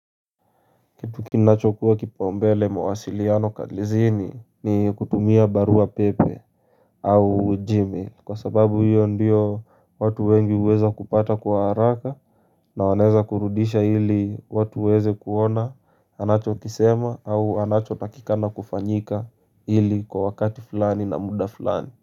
Tukinacho kuwa kipaumbele mawasiliano kaglizini ni kutumia barua pepe au gmail Kwa sababu hiyo ndiyo watu wengi huweza kupata kwa haraka na waneza kurudisha ili watu waweze kuona anacho kisema au anacho takika na kufanyika ili kwa wakati fulani na muda fulani.